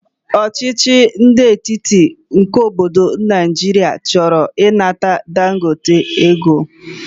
ọchịchị ndi etiti nke obodo Naijiria choro inata Dangote ego.